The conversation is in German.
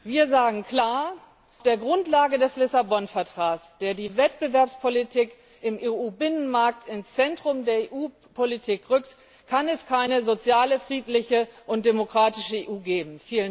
Wir sagen klar Auf der Grundlage des Lissabon Vertrags, der die Wettbewerbspolitik im EU Binnenmarkt ins Zentrum der EU Politik rückt, kann es keine soziale, friedliche und demokratische EU geben.